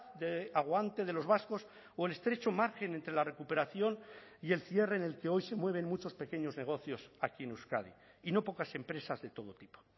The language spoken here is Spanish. de aguante de los vascos o el estrecho margen entre la recuperación y el cierre en el que hoy se mueven muchos pequeños negocios aquí en euskadi y no pocas empresas de todo tipo